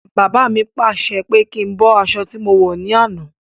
Baba mi pàṣẹ pé kí n bọ́ aṣọ tí mo wọ̀ ní àná.